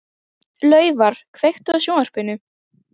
Laufar, kveiktu á sjónvarpinu.